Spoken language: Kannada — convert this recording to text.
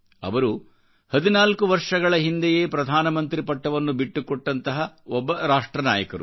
ಅವರು 14 ವರ್ಷಗಳ ಹಿಂದೆಯೇ ಪ್ರಧಾನಮಂತ್ರಿ ಪಟ್ಟವನ್ನು ಬಿಟ್ಟುಕೊಟ್ಟಂತಹ ಒಬ್ಬ ರಾಷ್ಟ್ರನಾಯಕರು